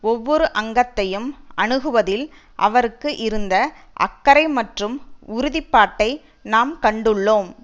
ஒவ்வொரு அங்கத்தையும் அணுகுவதில் அவருக்கு இருந்த அக்கறை மற்றும் உறுதி பாட்டை நாம் கண்டுள்ளோம்